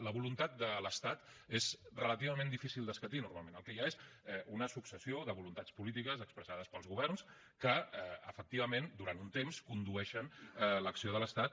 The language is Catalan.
la voluntat de l’estat és relativament difícil d’escatir normalment el que hi ha és una successió de voluntats polítiques expressades pels governs que efectivament durant un temps condueixen l’acció de l’estat